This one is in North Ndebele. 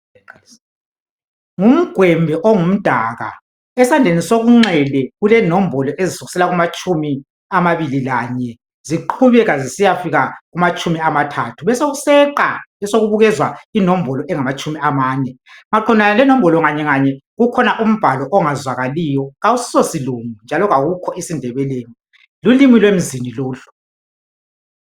ngumgwembe ongumdaka esandleni sokunxele kulenombolo ezisukisela kuamathumi amabili lanye ziqubeka zisiya fika kumatshumi amathathu besokuseqwa besokubukezwa inombolo ezingamatshumi amane maqondana lenombolo inye nganye kukhona umbalo ongazwakaliyo awusiso silungu njalo awukho esindebeleni lulumi lwemzini lolu